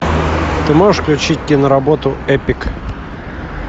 ты можешь включить киноработу эпик